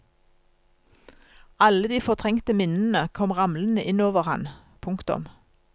Alle de fortrengte minnene kom ramlende inn over han. punktum